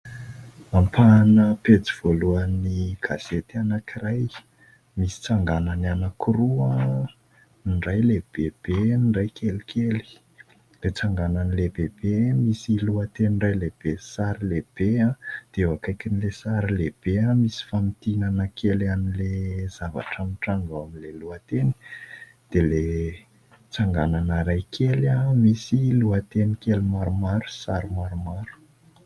ampahana pety voalohan'y kasety anankiray misy tsanganan'ny anakoroanydray lehibebeny iray kely kely ltsanganan'i lehibebe misy lohateny iray lehibe sary lehibe aho dia ho akaikin'ile sary lehibe aho misy famitianana kely an'le zavatra mitranova ao amin'ilay lohateny dia letsanganana ray kely aho misy lohateny kely maromaro saro maromaro